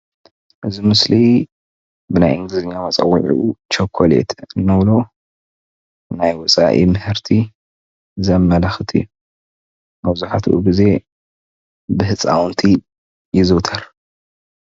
እዚ ምስሊ ብናይ እንግሊዘኛ መፀውዒዑ ቸኮሌት እንብሎ ናይ ወፃኢ ምህርቲ ዘምልክተና እዬ። መብዛሕትኢ ግዜ ብህፃውንቲ ይዝውተር።